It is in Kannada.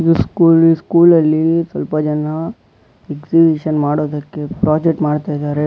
ಇದು ಸ್ಕುಲಿ ಸ್ಕೂಲಲ್ಲಿ ಸ್ವಲ್ಪ ಜನ ಎಕ್ಸಿಬಿಷನ್ ಮಾಡೋದಕ್ಕೆ ಪ್ರಾಜೆಕ್ಟ್ ಮಾಡ್ತಾಯಿದ್ದಾರೆ.